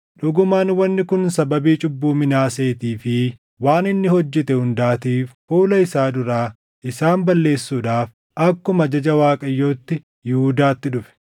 Dhugumaan wanni kun sababii cubbuu Minaaseetii fi waan inni hojjete hundaatiif fuula isaa duraa isaan balleessuudhaaf akkuma ajaja Waaqayyootti Yihuudaatti dhufe;